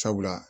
Sabula